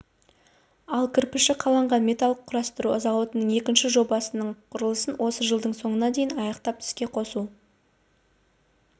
ал кірпіші қаланған металл құрастыру зауытының екінші жобасының құрылысын осы жылдың соңына дейін аяқтап іске қосу